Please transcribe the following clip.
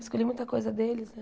Escolhi muita coisa deles, né?